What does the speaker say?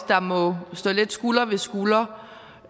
der må stå lidt skulder ved skulder